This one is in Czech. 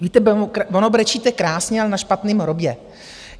Víte, ono brečíte krásně, ale na špatném hrobě.